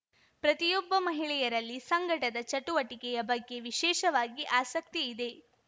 ಪ್ರತಿಯೊಬ್ಬ ಮಹಿಳೆಯರಲ್ಲಿ ಸಂಘಟದ ಚಟುವಟಿಕೆಯ ಬಗ್ಗೆ ವಿಶೇಷವಾಗಿ ಆಸಕ್ತಿ ಇದೆ